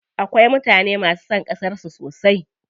Akwai mutane masu son ƙasar su sosai.